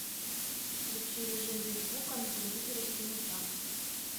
включи режим без звука на телевизоре в семь утра